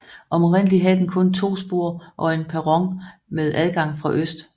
Oprindeligt havde den kun to spor og en perron med adgang fra øst